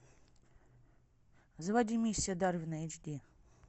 заводи миссия дарвина эйч ди